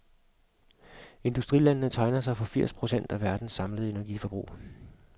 Industrilandene tegner sig for firs procent af verdens samlede energiforbrug.